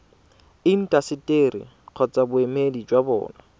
intaseteri kgotsa boemedi jwa bona